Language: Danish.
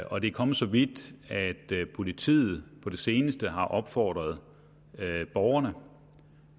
og det er kommet så vidt at politiet på det seneste har opfordret borgerne